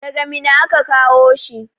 Daga Minna aka kawo shi.